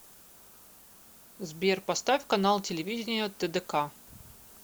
сбер поставь канал телевидения тдк